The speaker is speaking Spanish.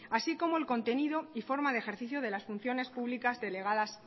así como el contenido y forma de ejercicio de las funciones públicas delegadas